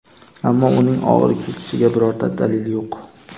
ammo uning og‘ir kechishiga birorta dalil yo‘q.